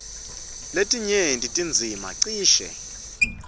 lesinyenti tindzima cishe